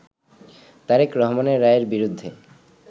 তারেক রহমানের রায়ের বিরুদ্ধে